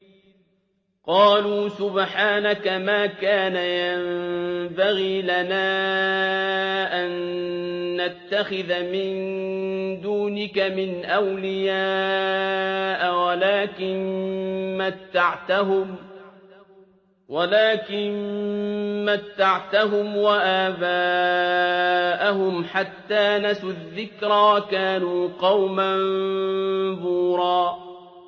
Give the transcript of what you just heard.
قَالُوا سُبْحَانَكَ مَا كَانَ يَنبَغِي لَنَا أَن نَّتَّخِذَ مِن دُونِكَ مِنْ أَوْلِيَاءَ وَلَٰكِن مَّتَّعْتَهُمْ وَآبَاءَهُمْ حَتَّىٰ نَسُوا الذِّكْرَ وَكَانُوا قَوْمًا بُورًا